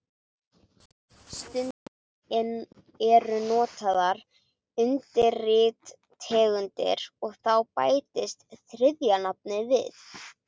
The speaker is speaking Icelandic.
Stundum eru notaðar undirtegundir og þá bætist þriðja nafnið við.